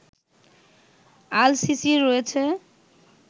আল সিসির রয়েছে